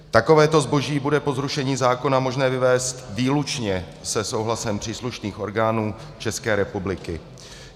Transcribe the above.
Takovéto zboží bude po zrušení zákona možné vyvézt výlučně se souhlasem příslušných orgánů České republiky.